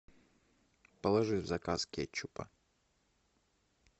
положи в заказ кетчупа